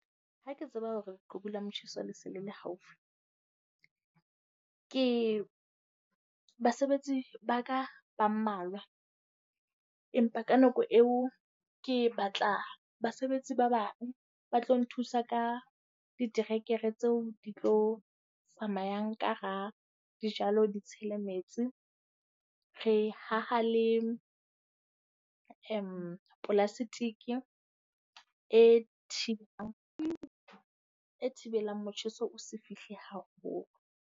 Ha ke tseba hore qhubu la motjheso le se le le haufi. Ke basebetsi ba ka ba mmalwa, empa ka nako eo ke batla basebetsi ba bang ba tlo nthusa ka diterekere tseo di tlo tsamayang ka hara dijalo, di tshele metsi. Re haha le plastic e e thibelang motjheso o se fihle haholo.